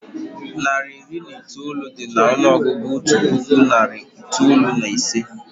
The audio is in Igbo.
Narị iri na itoolu dị n'ọnụọgụgụ otu puku na narị itoolu na ise